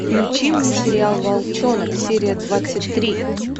включи мне сериал волчонок серия двадцать три